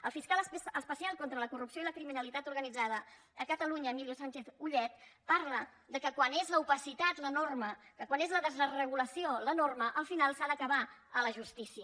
el fiscal especial contra la corrupció i la criminalitat organitzada a catalunya emilio sánchez ulled parla que quan és l’opacitat la norma que quan és la desregulació la norma al final s’ha d’acabar a la justícia